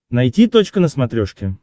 найти точка на смотрешке